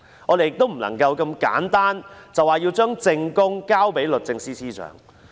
我們不應如此簡單地說要把證供交給律政司司長。